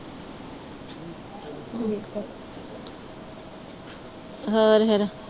ਠੀਕ ਹੈ, ਹੋਰ ਫੇਰ